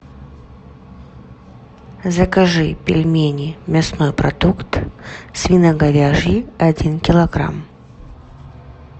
закажи пельмени мясной продукт свино говяжьи один килограмм